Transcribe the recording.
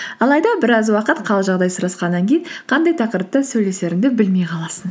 алайда біраз уақыт қал жағдай сұрасқаннан кейін қандай тақырыпта сөйлесеріңді білмей қаласың